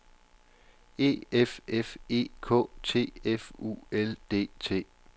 E F F E K T F U L D T